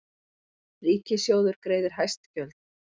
Ríkissjóður greiðir hæst gjöld